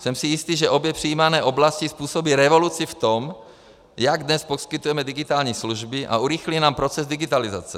Jsem si jistý, že obě přijímané oblasti způsobí revoluci v tom, jak dnes poskytujeme digitální služby, a urychlí nám proces digitalizace.